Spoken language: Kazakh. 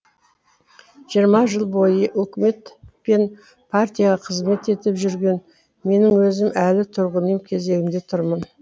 жиырма жыл бойы өкімет пен партияға қызмет етіп жүрген менің өзім әлі тұрғын үй кезегінде тұрмын